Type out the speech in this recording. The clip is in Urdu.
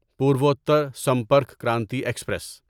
پورووتر سمپرک کرانتی ایکسپریس